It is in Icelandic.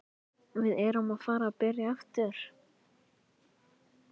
Við erum að fara að byrja aftur.